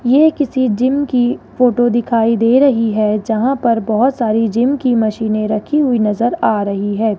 ये किसी जिम की फोटो दिखाई दे रही है जहां पर बहोत सारी जिम की मशीने रखी हुई नजर आ रही है।